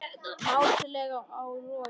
Mátulegt á Loga